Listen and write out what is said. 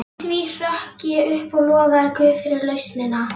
Í því hrökk ég upp og lofaði guð fyrir lausnina.